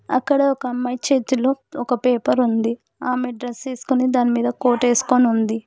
అక్కడ ఒక అమ్మాయి చేతిలో ఒక పేపర్ ఉంది ఆమే డ్రెస్ ఏసుకొని దానిమీద కోర్ట్ ఏసుకొని ఉంది.